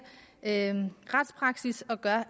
retspraksis og gør